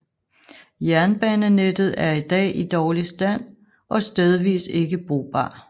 Jernbanenettet er i dag i dårlig stand og stedvis ikke brugbar